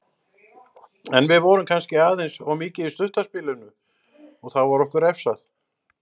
En við vorum kannski aðeins of mikið í stutta spilinu og þá var okkur refsað.